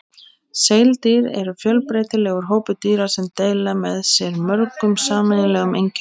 Seildýr eru fjölbreytilegur hópur dýra sem deila með sér mörgum sameiginlegum einkennum.